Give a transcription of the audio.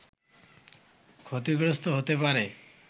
ক্ষতিগ্রস্ত হতে পারে